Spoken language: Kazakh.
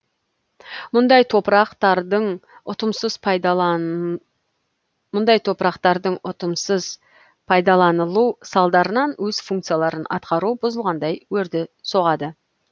мұндай топырақ тардың ұтымсыз пайдаланылу салдарынан өз функцияларын атқаруы бұзылғандай өрді соғады